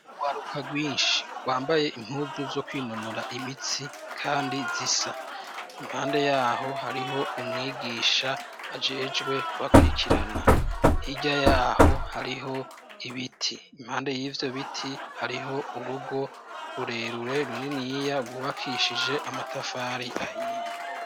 Ugwaruka rwinshi rwambaye intuzu zo kwinonora imitsi, kandi zisa impande yaho hariho umwigisha ajejwe kubakirikirana irya yaho hariho ibiti impande y'ivyo biti hariho urugo rurerure runini yiya rwubakishije amatafare ivahiye.